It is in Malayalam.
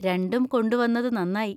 രണ്ടും കൊണ്ടുവന്നത് നന്നായി.